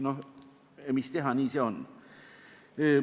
No mis teha, nii see on.